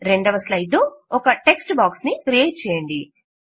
రెండవ స్లైడ్ లో ఒక టెక్ట్స్ బాక్స్ ను క్రియేట్ చేయండి